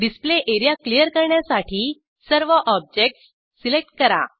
display area clear करण्यासाठी सर्व objects select करा